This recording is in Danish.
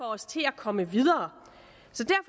os til at komme videre